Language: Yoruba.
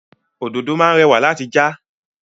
Òdòdó máá ń rẹ̀wà láti já.